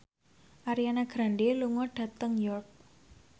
Ariana Grande lunga dhateng York